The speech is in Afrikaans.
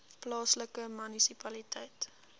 plaaslike munisipaliteit